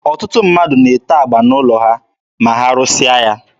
Ọtụtụ ndị mmadụ na-ete agba n'ụlọ ha ma ha rụsịa ya.